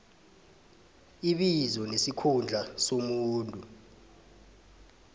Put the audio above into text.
ibizo nesikhundla somuntu